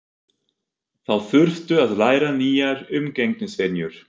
Þau þurftu að læra nýjar umgengnisvenjur.